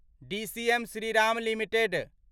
DCM Shriram limited